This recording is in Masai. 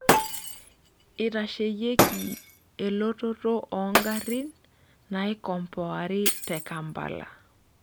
Eitasheyieki elototo oongarin naikompoari te Kampala.